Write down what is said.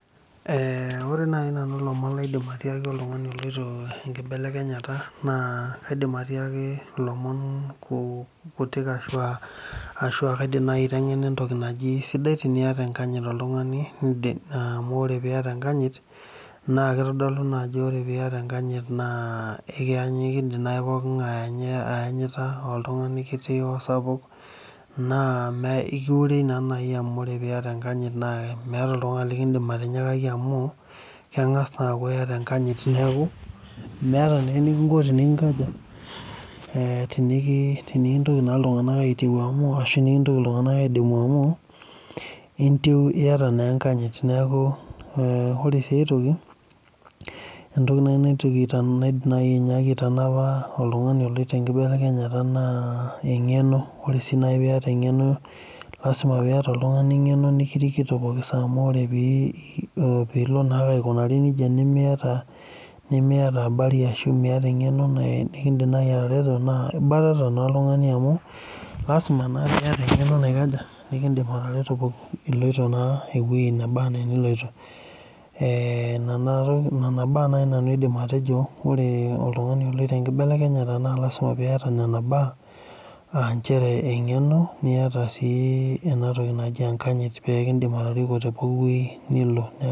Eeeh ore naaji nanu ilomon lenkibelekenyata naa kaidim atiaki ilomon kutik ashua kaidim aiteng'ena sidai enkanyit sidai tenaata enkanyit naa keitodolu naa ajo ore piata enkanyit naa eekindim naaji poolin nga'e aayanyita orkiti osapuk naa ekiiure naa naaji amu ore piata enkanyit amu keng'as aaku ore enkanyit neeku meeta naa enikinko tenikinkaja eeh tenikintoki naa iltung'anak atimoo amu ashu tenikintoki iltung'anak aidimu amu iyara naa enkanyit ore sii enkae toki entoki naaji naitoki aitanap naaidim naaji aitanapa oltung'ani oloito enkibelekenyata naa amu sii naaji piata eng'eno lasima piata oltung'ani eng'eno nikirikito pooki saa pilo naaa aikunari nejia miata eng'eno nikindiim naaji naa ibatata naa amu lasima naa piata eng'eno ee nana baa naaji nanu aidim aiteng'ena oltung'ani oloito enkibelekenyata naa lasima piata nena baa aa injere eng'eno niata siii enatoki naji enkanyit pee kindip atoriko tepooli weueji nilo.